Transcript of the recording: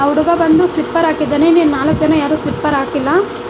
ಹುಡುಗ ಬಂದು ಸ್ಲಿಪ್ಪರ್ ಹಾಕಿದ್ದಾನೆ ಇನ್ನು ನಾಲಕ್ ಜನ ಯಾರು ಸ್ಲಿಪ್ಪರ್ ಹಾಕಿಲ್ಲ.